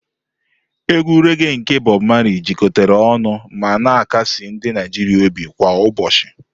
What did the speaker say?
Ekwe reghé nke Bob Marley jikọtara ọnụ ma na-akasi ndị Naijiria obi kwa ụbọchị.